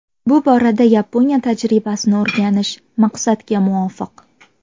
Bu borada Yaponiya tajribasini o‘rganish maqsadga muvofiq.